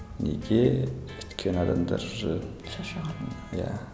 неге өйткені адамдар ы шаршаған иә